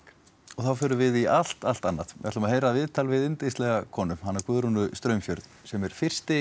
þá förum við í allt allt annað við ætlum að heyra viðtal við yndislega konu hana Guðrúnu Straumfjörð sem er fyrsti